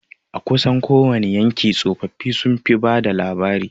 A kusan kowani yanki tsofaffi sun fi bada labarai